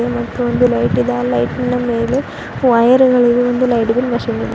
Mic ಒಂದು light ಇದೆ ಆ ಲೈಟಿನ ಮೇಲೆ ವೈರುಗಳಿವೆ ಒಂದು ಲೈಟ್ ಇದೆ ಮಷೀನ್ ಇದೆ.